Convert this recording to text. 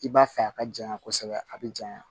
I b'a fɛ a ka janɲa kosɛbɛ a bɛ janya